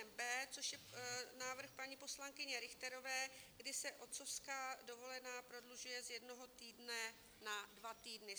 Nyní budeme hlasovat pozměňovací návrh pod písmenem B, což je návrh paní poslankyně Richterové, kdy se otcovská dovolená prodlužuje z jednoho týdne na dva týdny.